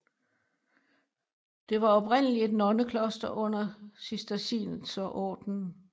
Det var oprindeligt et nonnekloster under Cistercienserordenen